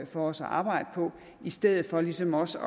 for os at arbejde på i stedet for ligesom også